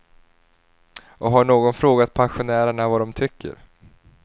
Och har någon frågat pensionärerna vad de tycker?